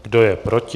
Kdo je proti?